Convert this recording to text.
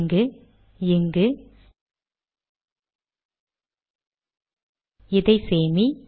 இங்கு இங்குஇதை சேமி